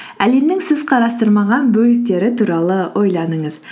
әлемнің сіз қарастырмаған бөліктері туралы ойланыңыз